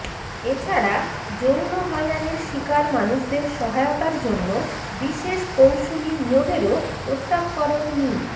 এছাড়া যৌন হয়রানির শিকার মানুষদের সহায়তার জন্য বিশেষ কৌসুলি নিয়োগেরও প্রস্তাব করেন মি